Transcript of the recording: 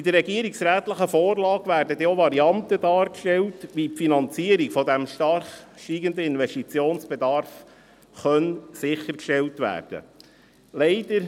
In der regierungsrätlichen Vorlage werden denn auch Varianten dargestellt, wie die Finanzierung des stark steigenden Investitionsbedarfs sichergestellt werden kann.